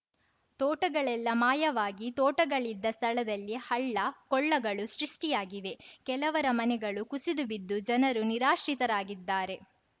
ತೋಟಗಳೆಲ್ಲಾ ಮಾಯವಾಗಿ ತೋಟಗಳಿದ್ದ ಸ್ಥಳದಲ್ಲಿ ಹಳ್ಳ ಕೊಳ್ಳಗಳು ಸೃಷ್ಟಿಯಾಗಿವೆ ಕೆಲವರ ಮನೆಗಳು ಕುಸಿದುಬಿದ್ದು ಜನರು ನಿರಾಶ್ರಿತರಾಗಿದ್ದಾರೆ